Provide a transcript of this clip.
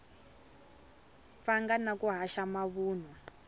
pfanga na ku haxa mavunwa